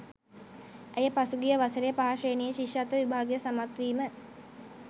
ඇය පසුගිය වසරේ පහ ශ්‍රේණිය ශිෂ්‍යත්ව විභාගය සමත්වීම